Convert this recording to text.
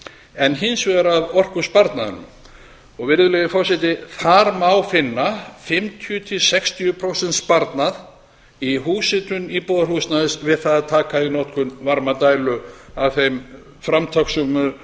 en hins vegar af orkusparnaðinum virðulegi forseti þar má finna fimmtíu til sextíu prósenta sparnað í húshitun íbúðarhúsnæðis við það að að taka í notkun varmadælu af þeim framtakssömu